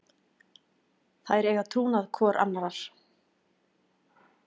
Þær eiga trúnað hvor annarrar.